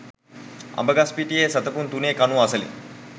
අඹගස්පිටියේ සැතපුම් තුනේ කණුව අසලින්